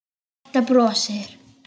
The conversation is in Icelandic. Marta brosir.